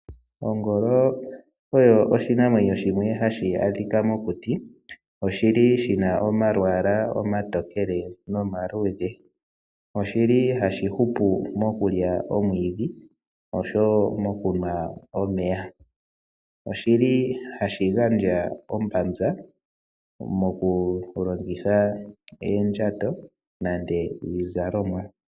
Ongolo oyo oshinamwenyo shimwe hashi adhika mokuti, oshi li shi na omalwaala omatokele nomaluudhe. Oshi li hashi hupu mokulya omwiidhi, osho wo mokunwa omeya. Oshi li hashi gandja ombanza mokulongitha oondjato nenge iizalomwa.